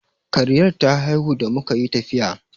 Kariyar ta haihu da muka yi tafiya.